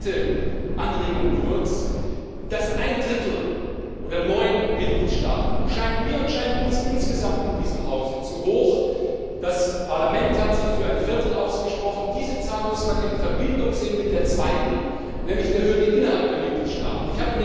Kurz eine zweite Anregung Ein Drittel oder neun Mitgliedstaaten scheint mir und scheint uns insgesamt in diesem Haus zu hoch, das Parlament hat sich für ein Viertel ausgesprochen, diese Zahl muss man in Verbindung mit der zweiten Hürde, nämlich der Hürde innerhalb der Mitgliedstaaten sehen.